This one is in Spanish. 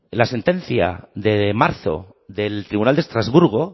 la sentencia de marzo del tribunal de estrasburgo